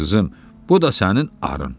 Qızım, bu da sənin arın.